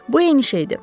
Bu eyni şeydir.